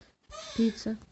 пицца